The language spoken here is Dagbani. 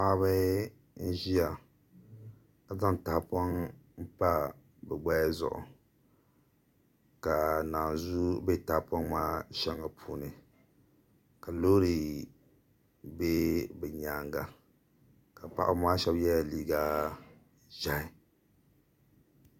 Paɣaba n ʒiya ka zaŋ tahapoŋ pa bi gbaya zuɣu ka naanzuu bɛ tahapoŋ kaa shɛŋa puuni ka loori bɛ bi nyanga ka paɣaba maa shab yɛla liiga ʒiɛhi